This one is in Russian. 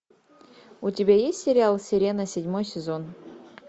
у тебя есть сериал сирена седьмой сезон